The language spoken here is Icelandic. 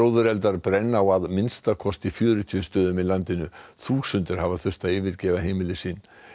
gróðureldar brenna á að minnsta kosti fjörutíu stöðum í landinu þúsundir hafa þurft að yfirgefa heimili sín